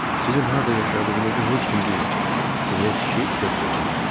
Sizin harda yaşadığınızı heç kim bilməsin, deyə kişi köks ötürdü.